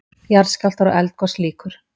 JARÐSKJÁLFTAR OG ELDGOS LÝKUR